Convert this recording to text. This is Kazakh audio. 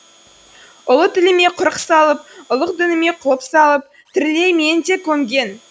ұлы тіліме құрық салып ұлық дініме құлып салып тірілей мені де көмген